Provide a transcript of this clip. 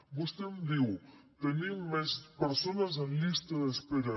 vostè em diu tenim més persones en llista d’espera